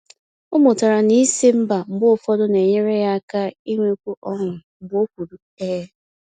O mụtara na ịsị ‘mba’ mgbe ụfọdụ na-enyere ya aka inwekwu ọṅụ mgbe o kwuru ‘ee’.